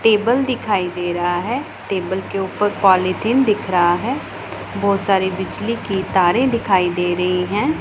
Table दिखाई दे रहा है टेबल के ऊपर पॉलिथीन दिख रहा है बहोत सारी बिजली की तारे दिखाई दे रही है।